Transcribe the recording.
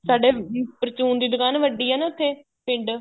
ਸਾਡੇ ਪ੍ਰ੍ਚੂਨ ਦੀ ਦੁਕਾਨ ਵੱਡੀ ਏ ਨਾ ਉੱਥੇ ਪਿੰਡ